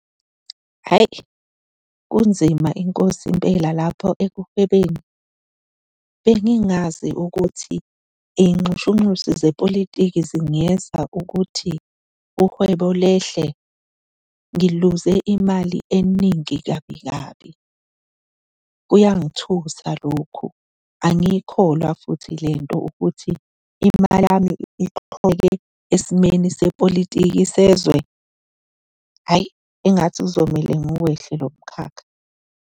Hhayi, kunzima inkosi impela lapho ekuhwebeni. Bengingazi ukuthi iy'nxushunxusu zepolitiki zingeza ukuthi uhwebo lwehle. Ngiluze imali eningi kabi kabi. Kuyangithusa lokhu, angiyikholwa futhi le nto ukuthi imali yami esimeni sepolitiki sezwe. Hhayi, engathi kuzomele ngiwuwehle lo mkhakha.